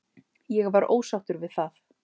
Ég var ósáttur við það.